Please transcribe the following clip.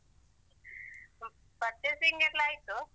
Purchasing ಎಲ್ಲ ಆಯ್ತು.